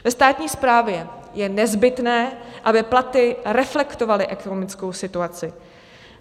Ve státní správě je nezbytné, aby platy reflektovaly ekonomickou situaci.